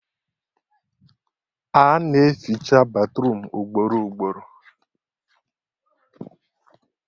A na-eficha batruum ugboro ugboro